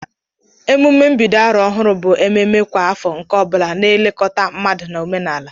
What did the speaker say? Emume mbido arọ ohurụ bụ ememe kwa afọ nke ọ bula na elekọta mmadu ma omenala.